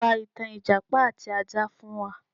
Pa ìtàn ìjàpá àti ajá fún wa